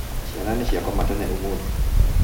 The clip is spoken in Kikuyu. Ciana nĩciakoma tene ũmũthĩ